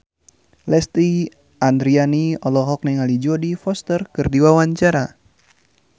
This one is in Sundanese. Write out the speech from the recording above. Lesti Andryani olohok ningali Jodie Foster keur diwawancara